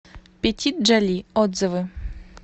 петит джоли отзывы